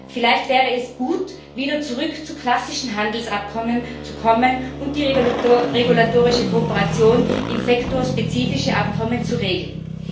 Vielleicht wäre es gut, wieder zurück zu klassischen Handelsabkommen zu kommen und die regulatorische Kooperation in sektorspezifischen Abkommen zu regeln.